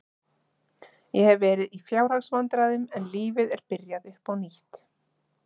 Ég hef verið í fjárhagsvandræðum en lífið er byrjað upp á nýtt.